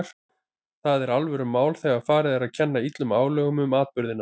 Það er alvörumál þegar farið er að kenna illum álögum um atburðina.